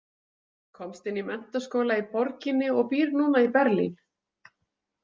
Komst inn í menntaskóla í borginni og býr núna í Berlín.